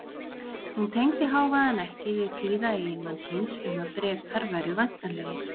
Hún tengdi hávaðann ekki við kvíða eiginmanns síns um að Bretar væru væntanlegir.